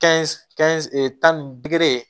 tan ni